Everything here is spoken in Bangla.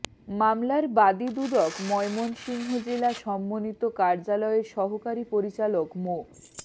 মামলার বাদী দুদক ময়মনসিংহ জেলা সমন্বিত কার্যালয়ের সহকারী পরিচালক মো